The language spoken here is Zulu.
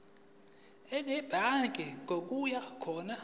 enedbank ngokuya khona